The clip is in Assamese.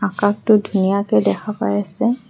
আকাশটো ধুনীয়াকে দেখা পাই আছে।